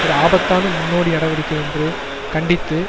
ஒரு ஆபத்தான முன்னோடி நடவடிக்கை என்று கண்டித்து